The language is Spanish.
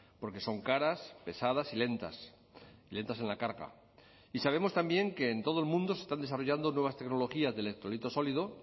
porque son caras pesadas y lentas lentas en la carga y sabemos también que en todo el mundo se están desarrollando nuevas tecnologías de electrolito sólido